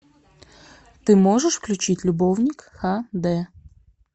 ты можешь включить любовник ха дэ